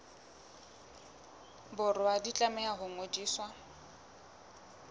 borwa di tlameha ho ngodiswa